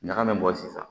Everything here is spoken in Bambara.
Ɲaga min bɔ sisan